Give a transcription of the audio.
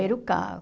Primeiro carro.